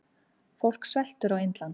Fólk sveltur á Indlandi.